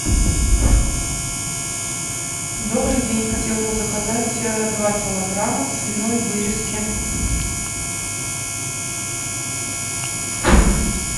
добрый день хотела бы заказать два килограмма свиной вырезки